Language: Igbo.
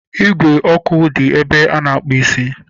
Ígwè ọkụ dị ebe a na-akpụ isi